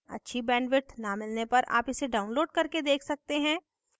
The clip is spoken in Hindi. अच्छी bandwidth न मिलने पर आप इसे download करके देख सकते हैं